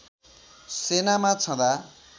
सेनामा छँदा